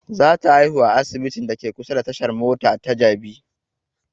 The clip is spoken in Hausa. Za ta haihu a asibitin da ke kusa da tashan mota ta jabi